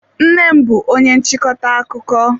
Nnem bú onye nchịkọta akụkọ.